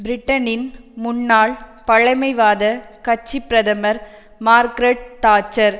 பிரிட்டனின் முன்னாள் பழைமைவாத கட்சி பிரதமர் மார்க்கரட் தாட்சர்